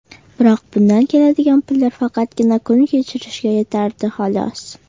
Biroq bundan keladigan pullar faqatgina kun kechirishga yetardi, xolos.